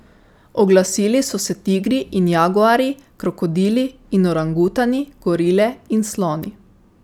Oglasili so se tigri in jaguarji, krokodili in orangutani, gorile in sloni.